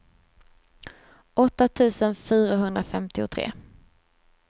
åtta tusen fyrahundrafemtiotre